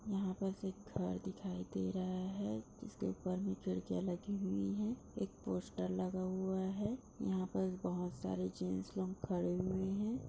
यहां पर सब घर दिखाई दे रहा है जिसके ऊपर में खिड़कियाँ लगी हुई हैं। एक पोस्टर लगा हुआ है। यहां पर बोहोत सारे जेंट्स लोग खड़े हुए हैं।